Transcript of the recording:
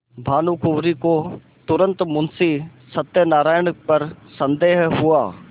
भानुकुँवरि को तुरन्त मुंशी सत्यनारायण पर संदेह हुआ